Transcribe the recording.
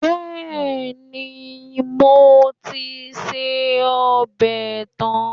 Bẹ́ẹ̀ni, mo ti se ọbẹ̀ tán